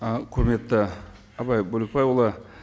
і құрметті абай бөлекбайұлы